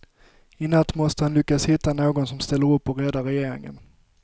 I natt måste han lyckas hitta någon som ställer upp och räddar regeringen.